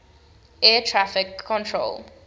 air traffic control